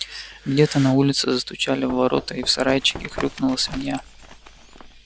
где-то на улице застучали в ворота и в сарайчике хрюкнула свинья